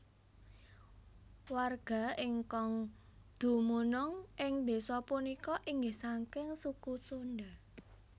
Warga ingkang dumunung ing desa punika inggih saking suku Sunda